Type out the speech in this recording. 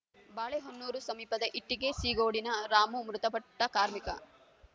ಬಾಳೆಹೊನ್ನೂರು ಸಮೀಪದ ಇಟ್ಟಿಗೆ ಸೀಗೋಡಿನ ರಾಮು ಮೃತಪಟ್ಟಕಾರ್ಮಿಕ